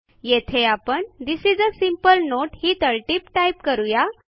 येथे आपण this is a sample note ही तळटीप टाईप करू या